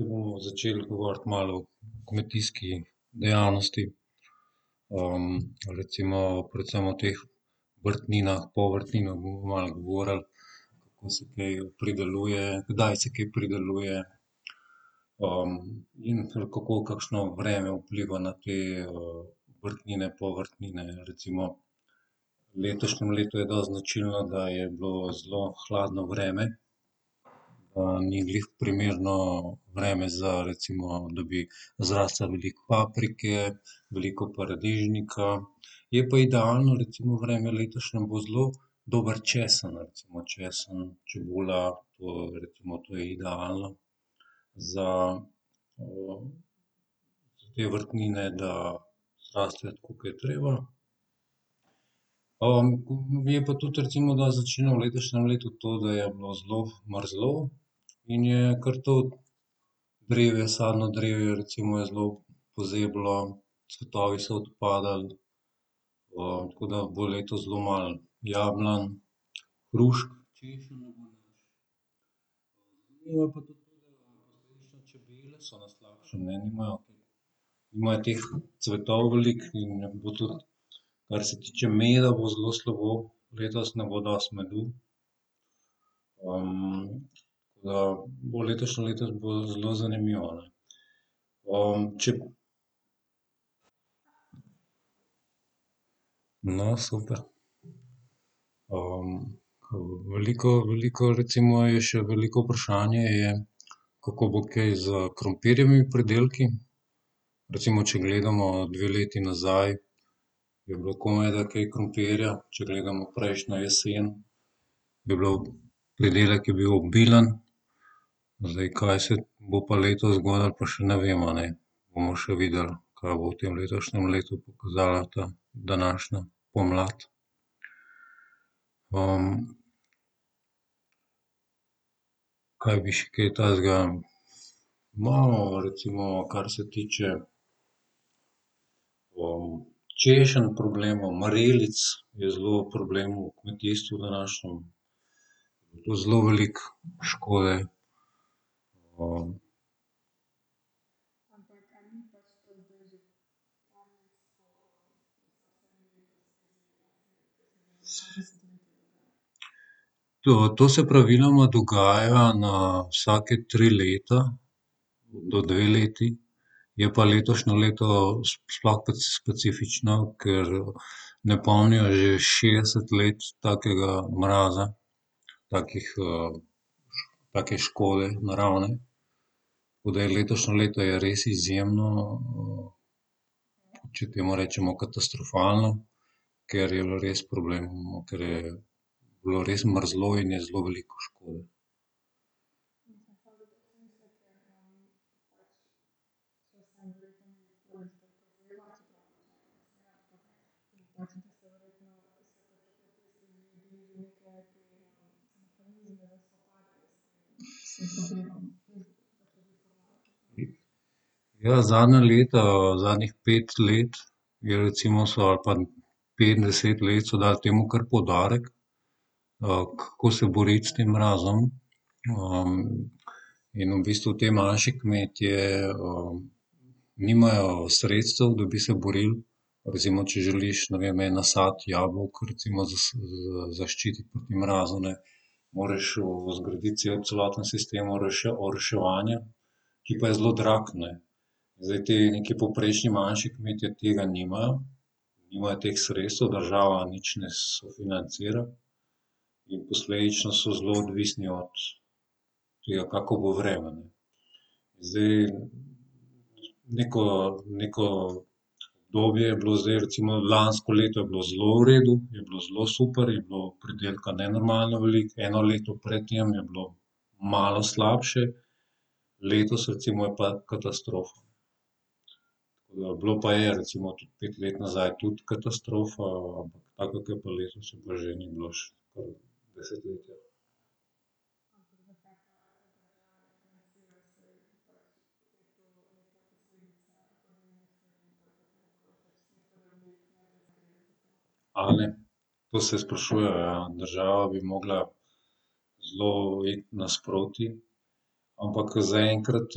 Zdaj bomo začeli govoriti malo o kmetijski dejavnosti. recimo predvsem o teh vrtninah, povrtninah bomo malo govorili, kako se kaj prideluje, kdaj se kaj prideluje. in kako kakšno vreme vpliva na te, vrtnine, povrtnine, recimo. V letošnjem letu je dosti značilno, da je bilo zelo hladno vreme. ni glih primerno vreme za recimo, da bi zrastlo veliko paprike, veliko paradižnika. Je pa idealno recimo vreme letošnje, bo zelo dober česen, recimo. Česen, čebula, to, recimo, to je idealno za, za te vrtnine, da zrastejo, tako ke je treba. je pa tudi recimo dosti značilno v letošnjem letu to, da je bilo zelo mrzlo in je kar tudi privesarno drevje recimo je zelo pozeblo, cvetovi so odpadali. tako da bo letos zelo malo jablan, hrušk, češenj. Čebele so na slabšem, nimajo kaj, nimajo teh cvetov veliko in je bilo tudi, kar se tiče meda, bo zelo slabo, letos ne bo dosti medu. bo letošnje leto bo zelo zanimivo, ne. ... No, super. ke veliko, veliko recimo je še veliko vprašanje je, kako bo kaj s krompirjevimi pridelki. Recimo, če gledamo dve leti nazaj, je bilo komajda kaj krompirja, če gledamo prejšnjo jesen. Je bilo, pridelek je bil obilen. Zdaj, kaj se bo pa letos zgodilo, pa še ne vemo, ne. Bomo še videli, kaj bo v tem letošnjem letu pokazala ta, današnja pomlad, Kaj bi še kaj takega, no, recimo, kar se tiče, češenj problemov, marelic je zelo problem v kmetijstvu današnjem. In to zelo veliko škode. ... To, to se praviloma dogaja na vsake tri leta do dve leti. Je pa letošnje leto, sploh specifično, ker ne pomnijo že šestdeset let takega mraza, takih, take škode naravne. Tako da je letošnje leto je res izjemno, če temu rečemo katastrofalno, ker je bilo res problemov, ker je bilo res mrzlo in je zelo veliko škode. Ja, zadnja leta, zadnjih pet let je recimo so ali pa pet, deset let so dali temu kar poudarek, kako se boriti s tem mrazom, in v bistvu te manjši kmetje, nimajo sredstev, da bi se borili recimo, če želiš, ne vem, en nasad jabolk recimo zaščititi proti mrazu, ne, moraš zgraditi cel, celoten sistem oroševanja, ki pa je zelo drag, ne. Zdaj, ti neki povprečni manjši kmetje tega nimajo, nimajo teh sredstev, država nič ne sofinancira. In posledično so zelo odvisni od tega, kako bo vreme, ne. Zdaj, neko, neko, obdobje je bilo zdaj recimo lansko leto je bilo zelo v redu, je bilo zelo super, je bilo pridelka nenormalno veliko. Eno leto pred tem je bilo malo slabše. Letos, recimo, je pa katastrofa. bilo pa je recimo tudi pet let nazaj tudi katastrofa, taka ke pa letos, je pa že ni bilo desetletja. A ne, to se sprašujejo, ja. Država bi mogla zelo iti nasproti, ampak zaenkrat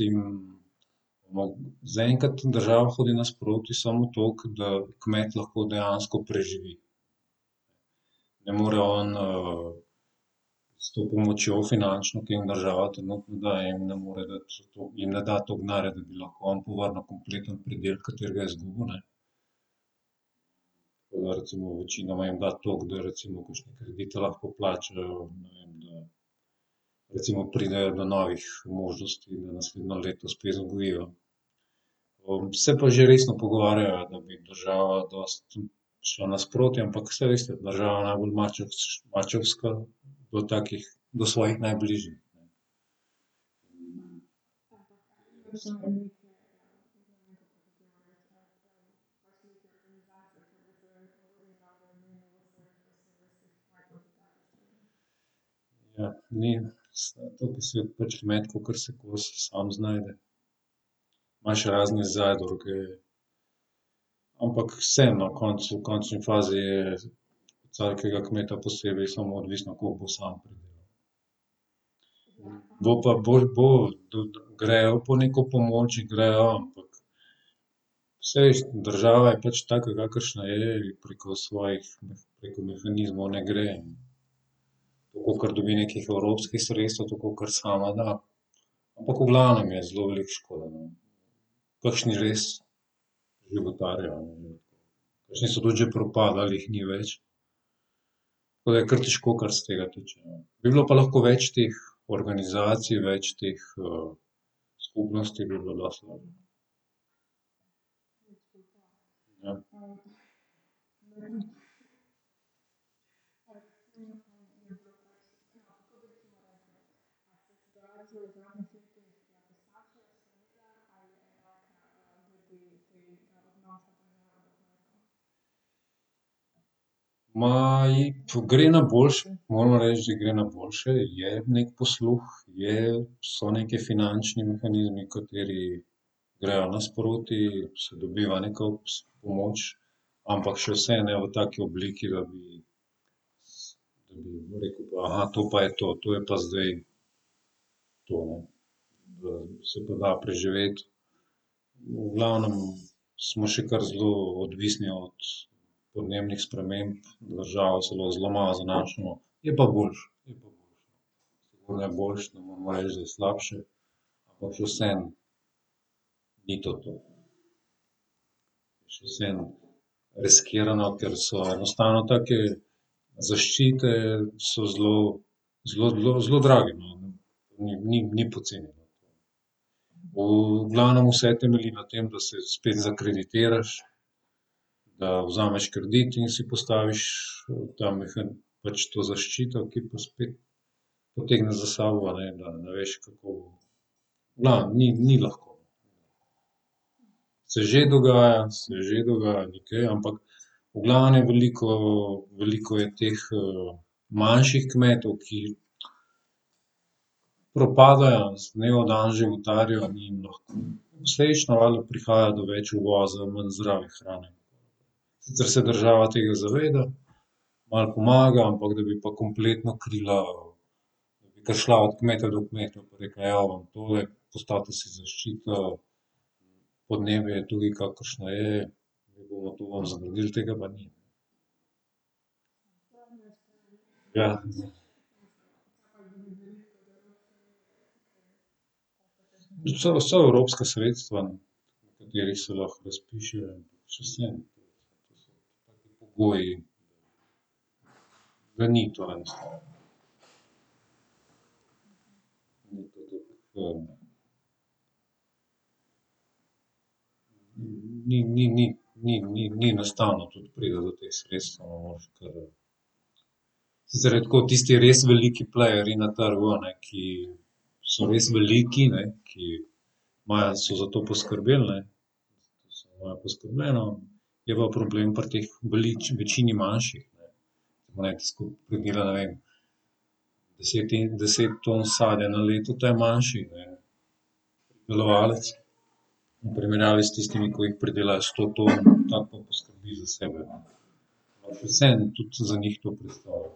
jim zaenkrat država hodi nasproti samo toliko, da kmet lahko dejansko preživi. Ne more on, s to pomočjo finančno, ki jim država trenutno daje, jim ne more dati toliko, jim ne da toliko denarja, da lahko on povrnil kompleten pridelek, katerega je izgubil, ne. recimo večinoma jim da toliko, da recimo kakšne kredite lahko plačajo, ne vem. Recimo pridejo do novih možnosti, da naslednje leto spet gojijo. se pa že resno pogovarjajo, da bi država dosti prišla nasproti, ampak saj veste, država je najbolj mačehovska do takih, do svojih najbližnjih. kakor se sam znajde. Imaš razne zadruge, ampak vseeno, koncu, v končni fazi je od vsakega kmeta posebej samo odvisno, koliko bo samo pridelal. Bo pa, bo, bo, grejo po neko pomoč, grejo, ampak saj država je pač taka, kakršna je, preko svojih preko mehanizmov ne gre, kolikor dobi nekih evropskih sredstev, kolikor sama da. Ampak v glavnem je zelo veliko škode, no. Kakšni res životarijo . Kakšni so tudi že propadli, jih ni več. To je kar težko, kar se tega tiče. Bi bilo pa lahko več teh organizacij, več teh, skupnosti bi bilo dosti lažje. Ma ji, gre na boljše, moram reči, da gre na boljše, je neki posluh. Je, so nekaj finančni mehanizmi, kateri grejo nasproti, se dobiva neka pomoč. Ampak še vseeno ne v taki obliki, da bi, da bi rekli, to pa je to, to je pa zdaj to. Da se pa da preživeti. V glavnem smo še kar zelo odvisni od podnebnih sprememb, na državo se lahko zelo malo zanašamo. Je pa boljše, je pa boljše. Sigurno je boljše, ne moremo reči, da je slabše. Ampak še vseeno ni to to. Še vseeno riskirano, ker so enostavno take zaščite so zelo, zelo, zelo, zelo drage, no. Ni, ni, ni poceni, no. V glavnem vse temelji na tem, da se spet zakreditiraš, da vzameš kredit in si postaviš ta pač to zaščito, ki potegne za sabo, a ne, da ne veš, kako, v glavnem, ni, ni lahko. Se že dogaja, se že dogaja ni kaj, ampak v glavnem, veliko, veliko je teh, manjših kmetov, ki propadajo, iz dneva v dan životarijo, ni jim lahko. Posledično valjda prihaja do več uvoza, manj zdrave hrane. Sicer se država tega zaveda, malo pomaga, ampak da bi pa kompletno krila, da bi kar šla od kmeta do kmeta pa rekla: "Evo, tole, postavite si zaščito," podnebje je tudi, kakršno je ne bomo tu , tega pa ni. Ja. Sicer vsa evropska sredstva, o katerih se lahko razpišejo, čisto vseeno. Pogoji ni to enostavno. Ni, ni, ni, ni, ni, ni enostavno, tudi pride do teh sredstev, moraš kar ... Sicer je tako, tisti res veliki plejerji na trgu, a ne, ki so res veliki, ne, ki imajo, so za to poskrbeli, ne, imajo poskrbljeno. Je pa problem pri teh večini manjših, ne. Smo rekli skupaj, ke dela, ne vem, desetin, deset ton sadja na leto, ta je manjši, ne. Delovalec v primerjavi s tistimi, ki jih pridelajo sto ton, ta pa poskrbi za sebe, ne. Pač vseeno tudi za njih to predstavlja.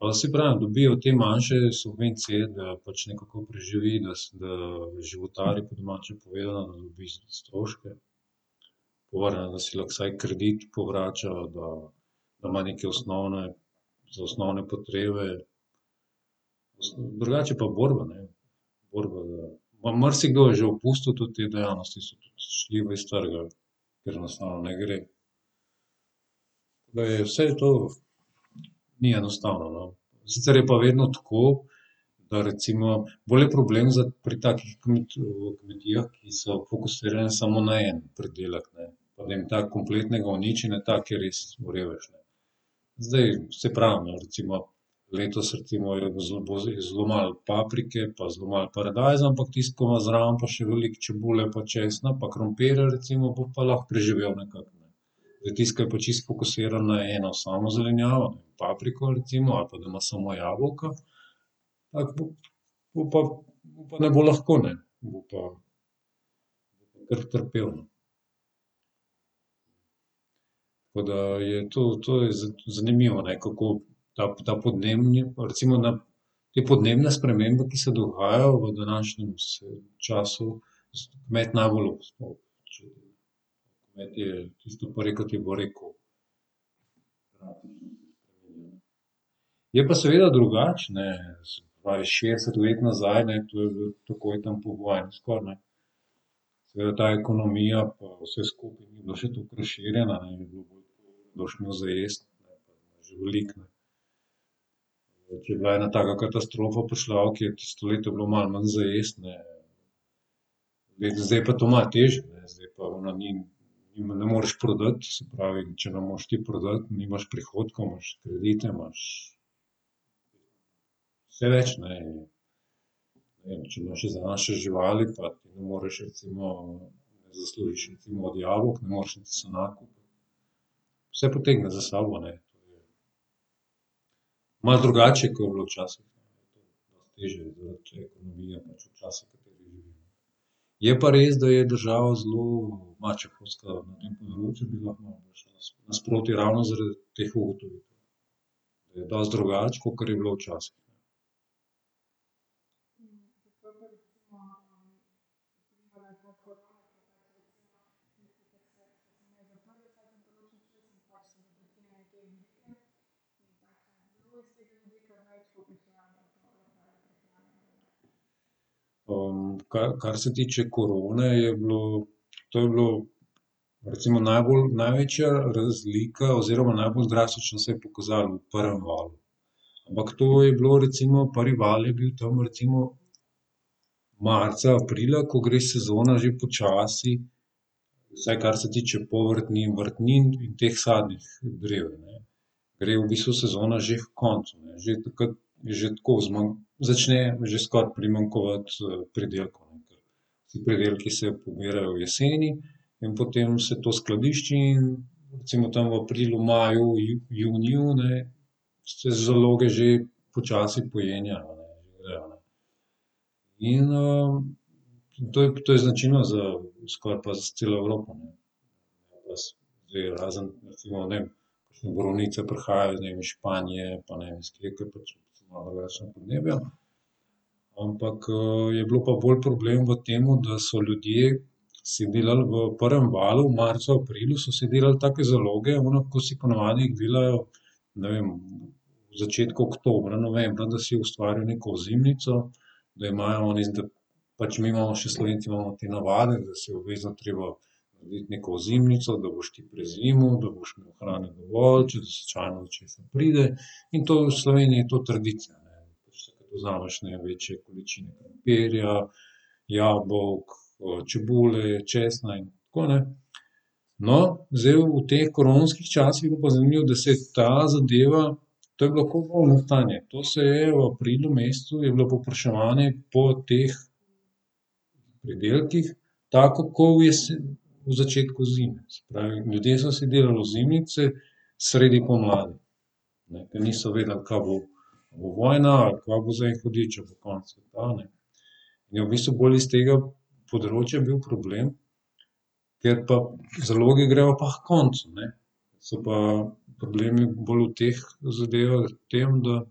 saj pravim, dobijo te manjše subvencije, da pač nekako preživi, da da životari po domače povedano, da dobi za stroške. Povrne, da si lahko vsaj kredit povrača, da, da ima neke osnovne, za osnovne potrebe. Drugače je pa borba, ne. Borba, pa marsikdo je že opustil tudi idejo, saj so tudi . Ker enostavno ne gre. Da je vse to ni enostavno, no. Sicer je pa vedno tako, da recimo, bolj je problem pri takih kmetijah, ki so fokusirane samo ne en pridelek, ne. Ne vem, tako kompletnega uničenja, tak je res revež, ne. Zdaj, saj pravim, recimo letos, recimo, je bilo zelo zelo malo paprike, pa zelo malo paradajza, ampak tisti, ko ima pa zraven pa še veliko čebule pa česna pa krompirja recimo, bo pa lahko preživel nekako, ne. Zdaj, tisti, ke je pa čisto fokusiran na eno samo zelenjavo, papriko, recimo, ali pa da ima samo jabolka, tako bo, bo pa mu pa ne bo lahko, ne. Mu bo pa kar trpel, no. Tako da je, to, to je zanimivo, kako ta, ta podnebni, recimo na te podnebne spremembe, ki se dogajajo v današnjem času, med . Je pa seveda drugače, ne, se pravi šestdeset let nazaj, ne, to je bilo takoj tam po vojni, skoraj, ne, izgleda ta ekonomija pa vse skupaj ni bilo še toliko razširjeno, da boš imel za jesti, je že veliko, ne. Če bi ena taka katastrofa prišla, kje tisto leto je bilo malo manj za jesti, ne, bi zdaj pa je to malo težje, ne, zdaj pa ona njim, jim ne moreš prodati, se pravi, če ne moreš ti prodati, nimaš prihodkov, imaš kredite, imaš vse več, ne. Ne vem, če imaš domače živali pa ti ne moreš, recimo zaslužiš recimo od jabolk, ne moreš niti sena kupiti. Vse potegne za sabo, ne, to je malo drugače je, ko je bilo včasih. Dosti težje zaradi ekonomije pač v času, v katerem živimo. Je pa res, da je država zelo mačehovska, a ne, področje bi lahko malo bolj nasproti ravno zaradi teh ugotovitev. To je dosti drugače, kakor je bilo včasih. kar, kar se tiče korone, je bilo, to je bilo recimo najbolj, največja razlika oziroma najbolj drastično se je pokazalo v prvem valu. Ampak to je bilo recimo prvi val je bil tam recimo marca, aprila, ko gre sezona že počasi, vsaj kar se tiče povrtnin, vrtnin in teh sadnih drevij, ne, gre v bistvu sezona že h koncu, ne. Že takrat že tako, začne že skoraj primanjkovati pridelkov. Ti pridelki se pobirajo v jeseni in potem se to skladišči in recimo tam v aprilu, maju, juniju, ne, se zaloge že počasi pojenjajo, že grejo, ne. In, to je, to je značilno za skoraj pa za celo Evropo, ne. Za ves, zdaj, razen, recimo, ne vem, kakšne borovnice prihajajo iz, ne vem, iz Španije, pa ne vem, so malo drugačna podnebja. Ampak, je bil pa bolj problem v tem, da so ljudje si delali v prvem valu, marca, v aprilu so si delali take zaloge ono, ke si po navadi delajo, ne vem, v začetku oktobra, novembra, da si ustvarijo neko ozimnico, da imajo oni Pač mi imamo, še Slovenci imamo te navade, da si je obvezno treba narediti neko ozimnico, da boš ti prezimil, da boš imel hrane dovolj, če slučajno do česa pride. In to v Sloveniji je to tradicija. Da pač takrat vzameš, ne vem, večje količine krompirja, jabolk, čebule, česna in tako, ne. No, zdaj v teh koronskih časih je bilo pa zanimivo, da se ta zadeva, to je bilo ko vojno stanje. To se je v aprilu mesecu je bilo povpraševanje po teh pridelkih tako kot v v začetku zime. Se pravi, ljudje so si delali ozimnice sredi pomladi, ne, ker niso vedeli, ka bo, a bo vojna, ali kva bo za en hudič, a bo konec sveta, ne. Je v bistvu bolj iz tega področja bil problem. Ker pa zaloge grejo pa h koncu, ne. So pa problemi bolj v teh zadevah v tem, da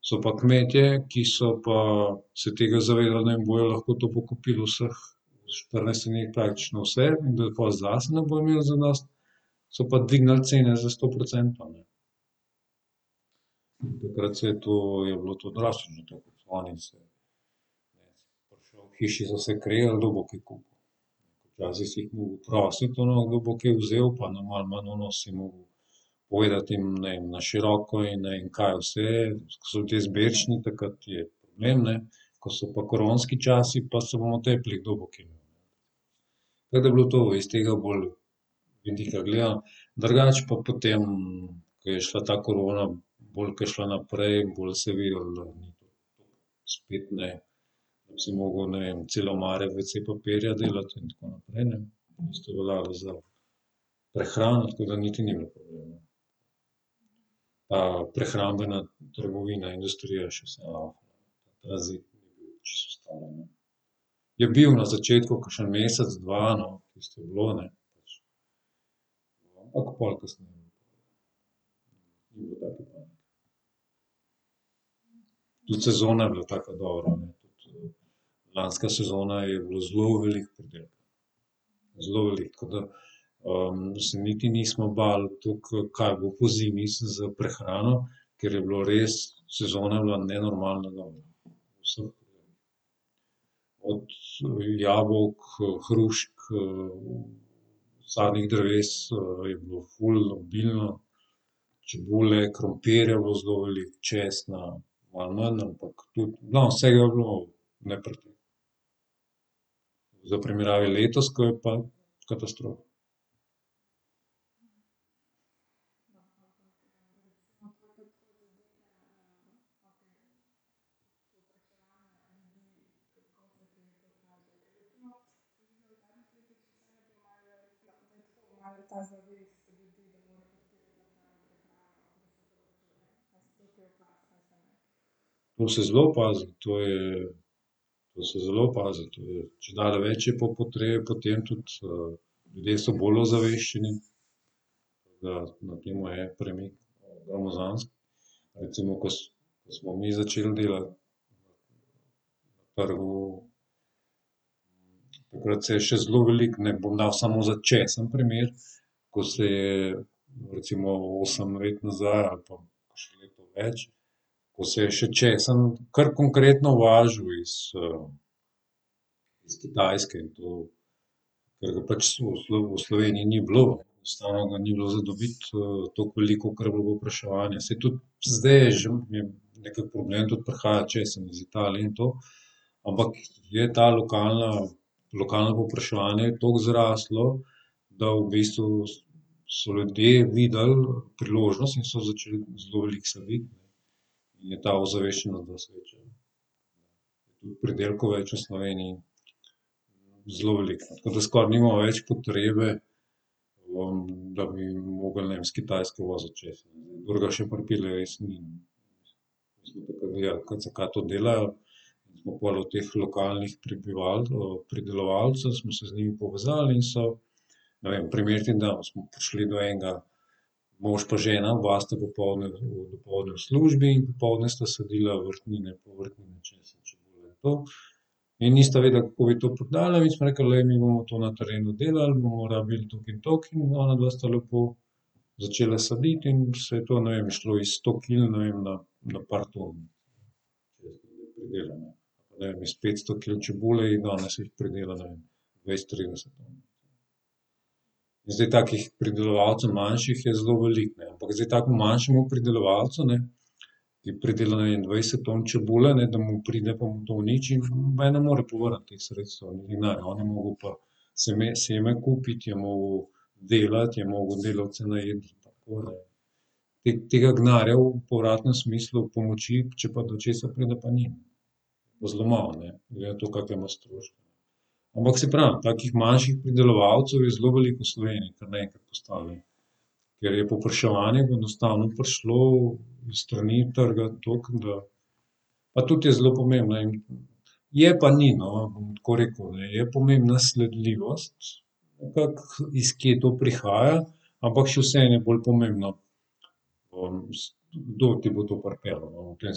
so pa kmetje, ki so pa se tega zavedali, bojo lahko to pokupili pri nas pač na vse, da pol zase ne bojo imeli zadosti, so pa dvignili cene za sto procentov. Takrat se je to je bilo to drastično to kupovanje in vse. V hiši so se kregali, kdo bo kaj kupil. Včasih si jih mogel prositi, ono, kdo bo kaj vzel, pa si mogel povedati jim, ne vem, na široko in ne vem, kaj vse, so ti izbirčni, takrat je problem, ne. Ko so pa koronski časi, pa se bomo tepli, kdo bo kaj imel. Takrat je bilo to iz tega bolj vidika gledano, drugače pa potem, ko je šla ta korona bolj, ke je šla naprej, bolj se je vedelo, da ni to to spet, ne, si mogel, ne vem, cele omare wc papirja delati in tako naprej, ne. Isto je veljalo za prehrano, tako da niti ni bilo problema. Pa prehrambena trgovina, industrija še vse lavfa. Je bil na začetku, kakšen mesec, dva, no, tisto je bilo, a ne. Ampak pol kasneje ... Tudi sezona je bila taka dobra, ne, tudi lanska sezona je bilo zelo veliko pridelka, zelo veliko, tako da, se niti nismo bali toliko, kaj bo pozimi s prehrano, ker je bilo res, sezona je bila nenormalno dobra. Od jabolk, hrušk, sadnih dreves, je bilo ful obilno, čebule, krompirja je bilo zelo veliko, česna malo manj, ampak tudi, no, vsega je bilo ... v primerjavi letos, ke je pa katastrofa. To se zelo opazi, to je, to se zelo opazi, to je, čedalje več je pa potrebe potem tudi, ljudje so bolj ozaveščeni, tako da, na tem je premik, gromozansko recimo, ko smo mi začeli delati, takrat se je še zelo veliko, ne, bom dal samo za česen primer, ko se je recimo osem let nazaj ali pa kakšno leto več, ko se je še česen kar konkretno uvažal iz, iz Kitajske in to, ker ga pač v v Sloveniji ni bilo, enostavno ga ni bilo za dobiti, toliko veliko, kakor je bilo povpraševanje. Saj tudi zdaj je že nekako, , tudi prihaja česen iz Italije in to, ampak je ta lokalna, lokalno povpraševanje je toliko zraslo, da v bistvu so ljudje videli priložnost in so začeli zelo veliko saditi in je ta ozaveščenost dosti večja. Tudi pridelkov več v Sloveniji zelo veliko, tako da skoraj nimamo več potrebe po, da bi mogli, ne vem, s Kitajske voziti česen zdaj, kdor ga še pripelje, res ni ... Smo takrat gledali, zakaj to delajo. Smo pol od teh lokalnih pridelovalcev smo se z njimi povezali in so, ne vem, primer ti bom dal, smo prišli do enega, mož pa žena oba sta popoldne, dopoldne v službi in popoldne sta sadila vrtnine, povrtnine, česen, čebula in to. In nista vedela, kako bi to prodala in smo rekli, glej, mi bomo to na terenu delali, bomo rabili toliko in toliko, in onadva sta lepo začela saditi in se je to, ne vem, šlo iz sto kil, ne vem, na par ton česnovega pridelka. Ali pa, ne vem, iz petsto kil čebule in danes jih pridela, ne vem, dvajset, trideset ton. In zdaj takih pridelovalcev manjših je zelo veliko, ne, ampak zdaj takemu manjšemu pridelovalcu, ne, ki je pridelal, ne vem, dvajset ton čebule, ne, da mu pride pa mu to uniči, noben ne more povrniti teh sredstev niti denarja, on je mogel pa seme kupiti, je mogel delati, je mogel delavce najeti . tega denarja v povratnem smislu pomoči, če pa do česa pride, pa ni. Bo zelo malo, a ne, glede na to, kakšne ima stroške. Ampak saj pravim takih manjših pridelovalcev je zelo veliko v Sloveniji kar naenkrat postalo. Ker je povpraševanje enostavno prišlo s stani trga tako, da pa tudi je zelo pomembno in, je pa ni, no. Bom tako rekel, ne, je pomembna sledljivost, ampak iz kje to prihaja, ampak še vseeno je bolj pomembno, kdo ti bo to pripeljal, no, v tem